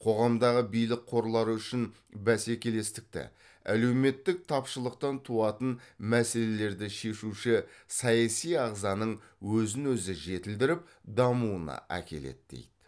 қоғамдағы билік қорлары үшін бәсекелестікті әлеуметтік тапшылықтан туатын мәселелерді шешуші саяси ағзаның өзін өзі жетілдіріп дамуына әкеледі дейді